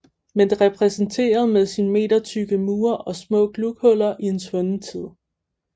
Men det repræsenterede med sine metertykke mure og små glughuller en svunden tid